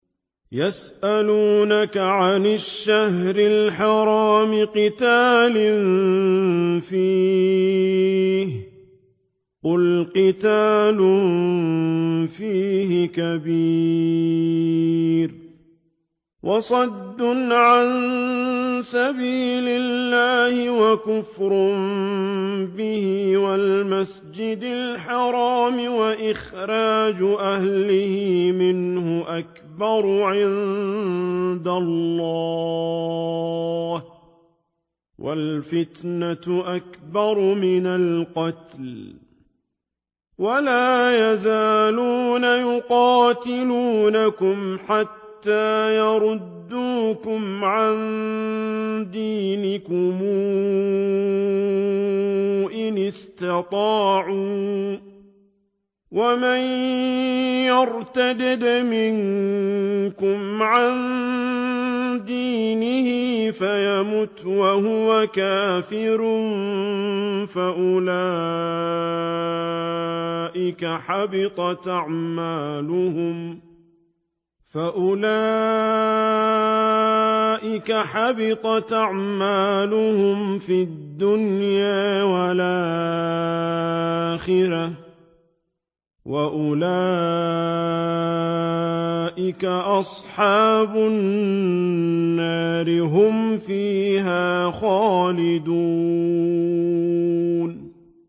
يَسْأَلُونَكَ عَنِ الشَّهْرِ الْحَرَامِ قِتَالٍ فِيهِ ۖ قُلْ قِتَالٌ فِيهِ كَبِيرٌ ۖ وَصَدٌّ عَن سَبِيلِ اللَّهِ وَكُفْرٌ بِهِ وَالْمَسْجِدِ الْحَرَامِ وَإِخْرَاجُ أَهْلِهِ مِنْهُ أَكْبَرُ عِندَ اللَّهِ ۚ وَالْفِتْنَةُ أَكْبَرُ مِنَ الْقَتْلِ ۗ وَلَا يَزَالُونَ يُقَاتِلُونَكُمْ حَتَّىٰ يَرُدُّوكُمْ عَن دِينِكُمْ إِنِ اسْتَطَاعُوا ۚ وَمَن يَرْتَدِدْ مِنكُمْ عَن دِينِهِ فَيَمُتْ وَهُوَ كَافِرٌ فَأُولَٰئِكَ حَبِطَتْ أَعْمَالُهُمْ فِي الدُّنْيَا وَالْآخِرَةِ ۖ وَأُولَٰئِكَ أَصْحَابُ النَّارِ ۖ هُمْ فِيهَا خَالِدُونَ